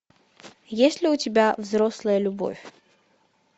есть ли у тебя взрослая любовь